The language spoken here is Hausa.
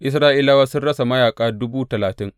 Isra’ilawa sun rasa mayaƙa dubu talatin.